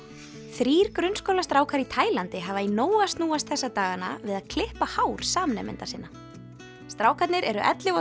þrír grunnskólastrákar í Taílandi hafa í nógu að snúast þessa dagana við að klippa hár samnemenda sinna strákarnir eru ellefu og